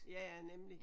Ja ja nemlig